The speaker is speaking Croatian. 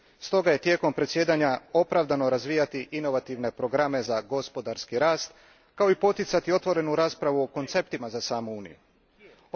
Stoga je tijekom predsjedanja opravdano razvijati inovativne programe za gospodarski rast, kao i poticati otvorenu raspravu o konceptima za samu Uniju.